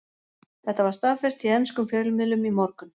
Þetta var staðfest í enskum fjölmiðlum í morgun.